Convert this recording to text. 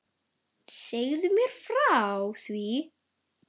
Segðu mér frá því.